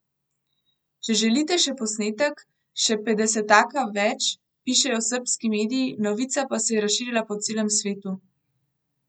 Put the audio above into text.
Če želite še posnetek, še petdesetaka več, pišejo srbski mediji, novica pa se je razširila po celem svetu.